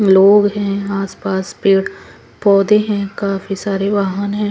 लोग है आस पास पेड़ पौधे है काफी सारे वाहन है।